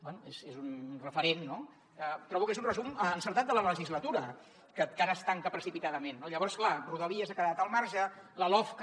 bé és un referent no trobo que és un resum encertat de la legislatura que ara es tanca precipitadament no llavors clar rodalies n’ha quedat al marge la lofca